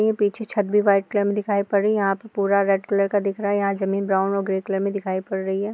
ये पीछे छत भी व्हाइट कलर में दिखाई पड़ रही। यहाँ पर पूरा रेड कलर का दिख रहा है। यहाँ जमीन ब्राउन और ग्रे कलर में दिखाई पड़ रही है।